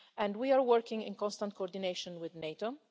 We are working in constant coordination with NATO